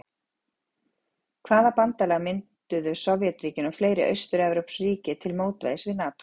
Hvaða bandalag mynduðu Sovétríkin og fleiri austurevrópsk ríki til mótvægis við NATÓ?